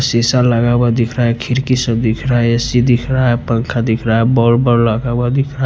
शीशा लगा हुआ दिख रहा है खिड़की सब दिख रहा है ए_सी दिख रहा है पंखा दिख रहा है बॉल लगा हुआ दिख रहा है।